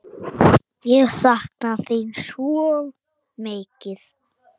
Ég sakna þín svo mikið.